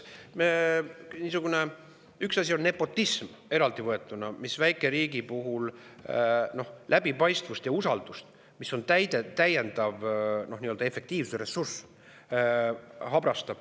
Üks asi on nepotism eraldi võetuna, mis väikeriigi puhul habrastab läbipaistvust ja usaldust, mis on täiendav efektiivsuse ressurss.